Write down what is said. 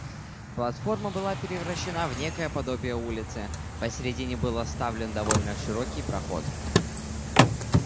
платформа была превращена в некое подобие улицы посередине был оставлен довольно широкий проход